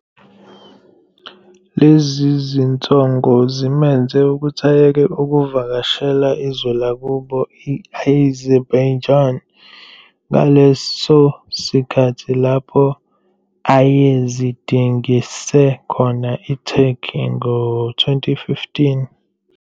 Lezi zinsongo zimenze ukuthi ayeke ukuvakashela izwe lakubo i-Azerbaijan ngaleso sikhathi lapho ayezidingise khona eTurkey ngo-2015.